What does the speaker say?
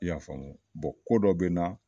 I y'a faamu wa bɔn ko dɔ be n na